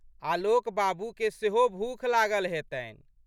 आलोक बाबूके सेहो भूख लागल हेतनि।